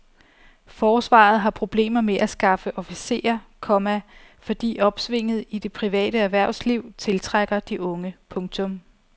Forsvaret har problemer med at skaffe officerer, komma fordi opsvinget i det private erhvervsliv tiltrækker de unge. punktum